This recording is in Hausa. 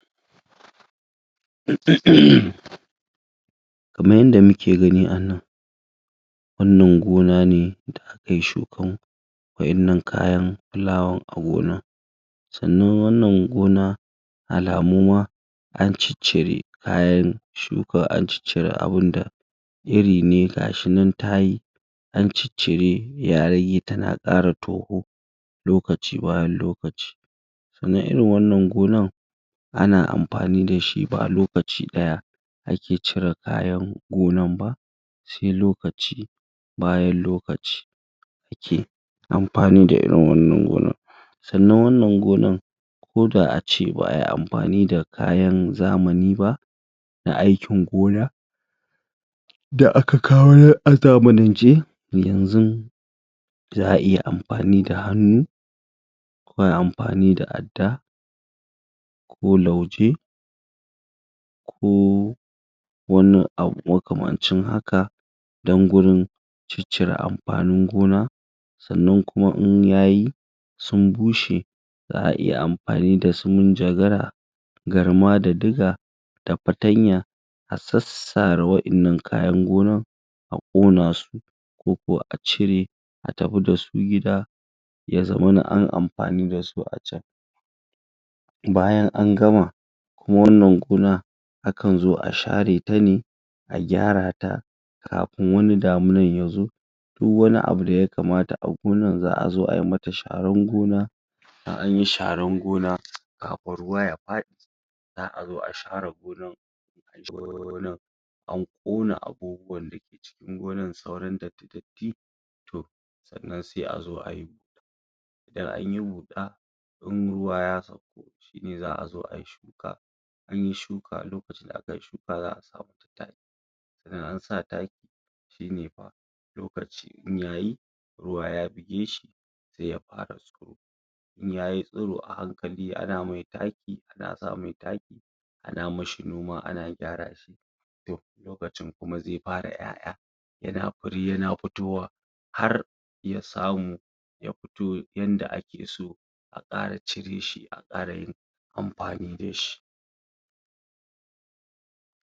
? Kaman yadda muke gani a nan wannan gona ne da aka yi shukan wa'innan kayan fulawan a gonan sannan wannan gona alamu ma an ciccire kayan suka an ciccire abunda iri ne gashi nan ta yi an ciccire ya rage tana ƙara toho lokaci bayab lokaci sannan irin wannan gonan ana amfani da shi ba lokaci ɗaya ake cire kayan gonan ba sai lokaci bayan lokaci ake amfani da irin wannan gonan sannan wannan gonan koda ace ba ayi amfani da kayan zamani ba na aikin gona da aka kawo a zamanance yanzun za a iya amfani da hannu ko ayi amfani da adda ko lauje ko wani abu makamcin haka don gurin ciccire amfanin gona sannan kuma in yayi sun bushe za a iya amfani da su munjagara garma da diga da fatanya a sassare wa'innan kayan gonan a ƙona su ko kuwa a cire a tafi da su gida ya zamana anyi amfani da su a can Bayan an gama, kuma wannan gona akan zo a share ta ne a gyara ta kafin wani damunan ya zo duk wani abu da ya kamata a gonan za a zo a mata sharan gona anyi sharan gona kafin ruwa ya faɗi za a zo a share gonan? an ƙona abubuwan da ke cikin gonan sauran datti-datti to sannan asi a zo ayi i anyi huɗa in ruwa ya sauko shine za a zo ayi shuka in anyi shuka a lokacin da aka yi shuwa za a sa taki sannan in an a taki shine fa idan lokaci yayi ruwa ya buge shi' sai ya fara tsirowa in yayi tsiro a hankali ana mai taki ana sa mai taki ann mishi noma ana gyara shi to lokacin kuma zai fara ƴaƴa yana fure yana fitowa har ya samu ya fito yanda ake so a ƙara cire shi a ƙara yin amfani da shi